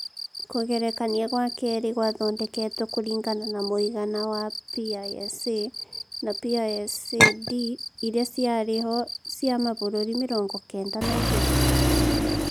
Kũgerekania gwa keerĩ gwathondeketwo kũringana na mũigana wa wa PISA na PISA-D irĩa ciarĩ ho cia mabũrũri mĩrongo kenda na igĩrĩ.